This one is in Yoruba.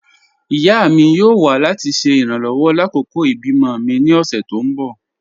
Ìyá mi yóò wà láti ṣe irànlowọ̀ lákọkọ̀ ibi-mọ̀ mi ní ọ̀ṣẹ̀ tó n bọ́